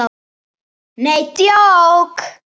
NEi DJÓK!